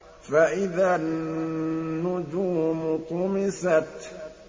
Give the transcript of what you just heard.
فَإِذَا النُّجُومُ طُمِسَتْ